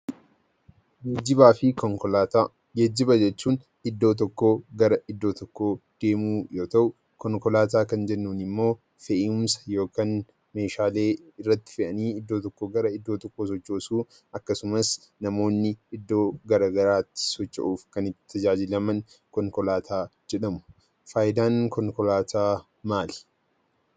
Geejjibaa fi Konkolaataa Geejjiba jechuun iddoo tokkoo gara iddoo tokkoo deemuu yoo ta'u, konkolaataa kan jennuun immoo fe'umsa yookaan meeshaalee irratti fe'anii iddoo tokkoo gara iddoo tokkoo sochoosuu akkasumas namoonni iddoo garaagaraatti socho'uuf kan itti tajaajilaman konkolaataa jedhamu. Faayidaan konkolaataa maali?